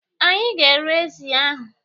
Anyị ga- ere ezi ahụ.